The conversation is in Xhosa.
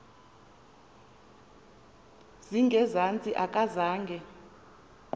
zinge zantsi akazange